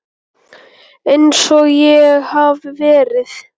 Einsog ég hafi verið.